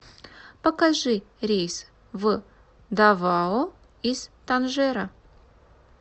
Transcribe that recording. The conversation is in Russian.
покажи рейс в давао из танжера